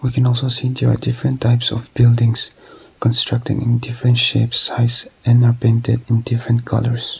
we can also see there are different types of buildings constructing in different shapes size and are painted in different colours.